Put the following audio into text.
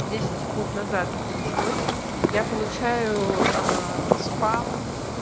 десять секунд назад это началось я получаю спам